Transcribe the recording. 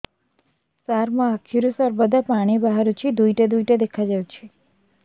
ସାର ମୋ ଆଖିରୁ ସର୍ବଦା ପାଣି ବାହାରୁଛି ଦୁଇଟା ଦୁଇଟା ଦେଖାଯାଉଛି